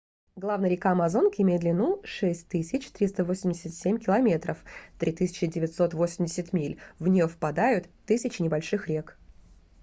главная река амазонки имеет длину 6387 км 3980 миль. в неё впадают тысячи небольших рек